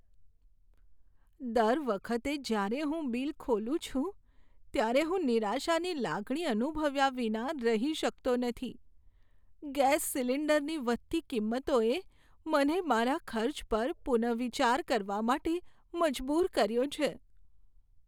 દર વખતે જ્યારે હું બિલ ખોલું છું, ત્યારે હું નિરાશાની લાગણી અનુભવ્યા વિના રહી શકતો નથી. ગેસ સિલિન્ડરની વધતી કિંમતોએ મને મારા ખર્ચ પર પુનર્વિચાર કરવા માટે મજબૂર કર્યો છે.